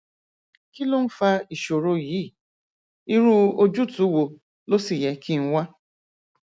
kí ló ń fa ìṣòro yìí irú ojútùú wo ló sì yẹ kí n wá